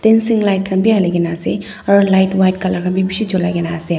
dancing light khan bi hali kene ase aru light white colour khan bi bishi julai kene ase.